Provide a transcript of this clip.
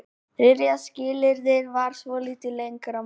Þriðja skilyrðið þarf svolítið lengra mál.